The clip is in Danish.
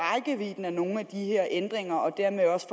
nogle af de her ændringer og dermed også